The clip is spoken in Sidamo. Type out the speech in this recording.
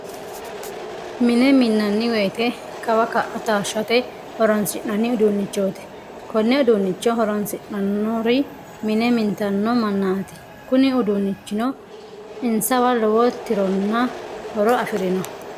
Mine minnanni woyte kawa ka'a taashshate horoonsi'nanni uduunnichooti. Konne udduunnicho horoonsidhannori mine mintanno mannaati kuni uddunnichuno insawa lowo tironna horo afirino.